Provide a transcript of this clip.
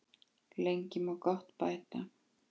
Lengi má gott bæta.